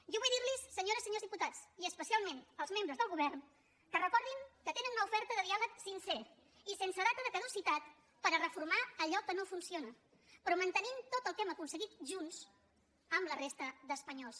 jo vull dir los senyores i senyors diputats i especialment als membres del govern que recordin que tenen una oferta de diàleg sincer i sense data de caducitat per reformar allò que no funciona però mantenint tot el que hem aconseguit junts amb la resta d’espanyols